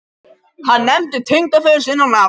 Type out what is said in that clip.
Hann nefndi tengdaföður sinn á nafn.